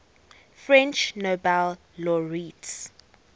french nobel laureates